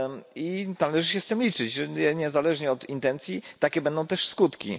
I należy się z tym liczyć, że niezależnie od intencji takie będą też skutki.